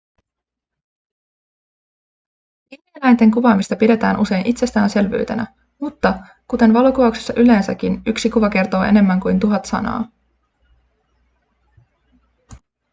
villieläinten kuvaamista pidetään usein itsestäänselvyytenä mutta kuten valokuvauksessa yleensäkin yksi kuva kertoo enemmän kuin tuhat sanaa